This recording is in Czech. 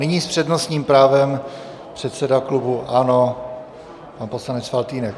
Nyní s přednostním právem předseda klubu ANO, pan poslanec Faltýnek.